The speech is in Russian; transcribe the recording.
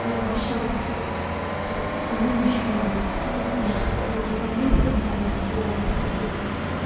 я пообещала пятьдесят консультаций провести по моему ещё не было пятидесяти девять один один в комментариях любого из последних постов